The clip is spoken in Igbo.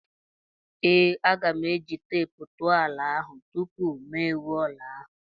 Ee, aga m eji teepu tụọ ala ahụ tupu mụ ewuo ụlọ ahụ.